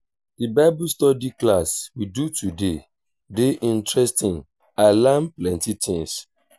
the bible study class we do today dey interesting i learn plenty things